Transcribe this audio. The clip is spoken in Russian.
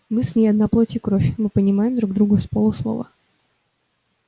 мы с ней одна плоть и кровь мы понимаем друг друга с полуслова